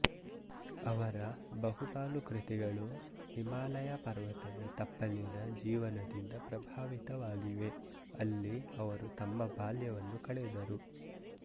ಅವರ ಬಹುಪಾಲು ಕೃತಿಗಳು ಹಿಮಾಲಯ ಪರ್ವತದ ತಪ್ಪಲಿನ ಜೀವನದಿಂದ ಪ್ರಭಾವಿತವಾಗಿವೆ ಅಲ್ಲಿ ಅವರು ತಮ್ಮ ಬಾಲ್ಯವನ್ನು ಕಳೆದರು